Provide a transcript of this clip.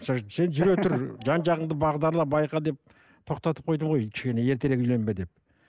сен жүре тұр жан жағыңды бағдарла байқа деп тоқтатып қойдым ғой ертерек үйленбе деп